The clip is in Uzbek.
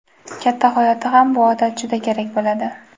Katta hayotda ham bu odat juda kerak bo‘ladi.